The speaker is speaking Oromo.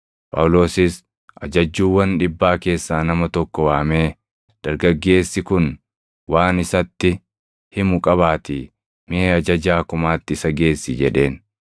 Phaawulosis ajajjuuwwan dhibbaa keessaa nama tokko waamee, “Dargaggeessi kun waan isatti himu qabaatii mee ajajaa kumaatti isa geessi” jedheen.